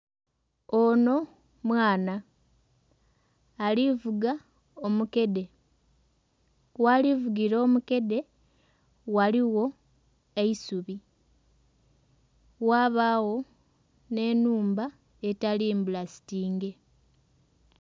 Onho mwaana alivuga omukede ghali vugira omukede ghaligho eisubi ghabagho nhe enhumba etali mbulasitinge.